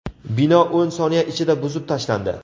Bino o‘n soniya ichida buzib tashlandi.